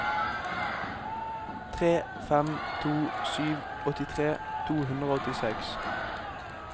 tre fem to sju åttitre to hundre og åttiseks